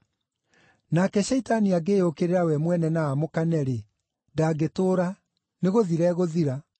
Nake Shaitani angĩĩyũkĩrĩra we mwene na aamũkane-rĩ, ndangĩtũũra; nĩ gũthira egũthira.